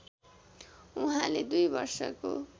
उहाँले २ वर्षको